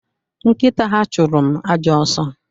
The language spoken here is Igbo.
Nkita ha chụrụ m ajọ ọsọ